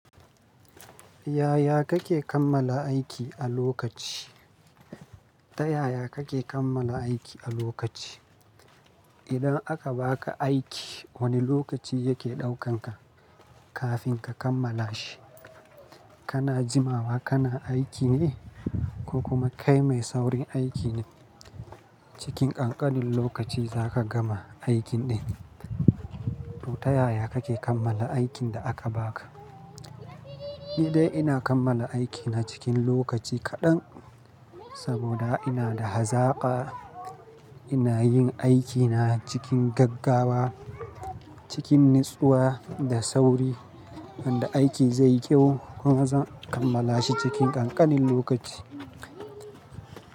Yaya kake kammala aiki a lokaci? Ta yaya kake kammala aiki a lokaci? Idan aka baka aiki, wane lokaci yake ɗaukanka kafin ka kammala shi? Kana jimawa kana aiki ne ko kuma kai mai saurin aiki ne? Cikin ƙanƙanin lokaci za ka gama aikin ɗin, to ta yaya kake kammala aikin da aka baka? Ni dai ina kammala aikina cikin lokaci kaɗan saboda ina da hazaka. Ina yin aikina cikin gaggawa, cikin natsuwa da sauri. Tana aiki zai yi kyau kuma zan kammala shi cikin ƙanƙanin lokaci.